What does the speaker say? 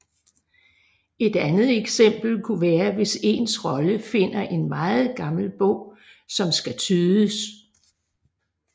Et andet eksempel kunne være hvis ens rolle finder en meget gammel bog som skal tydes